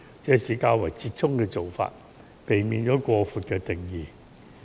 這是較為折衷的做法，避免將婚姻的定義訂得過闊。